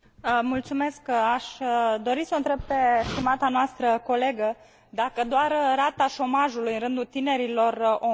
Aș dori să o întreb pe stimata noastră colegă dacă doar rata șomajului în rândul tinerilor o îngrijorează.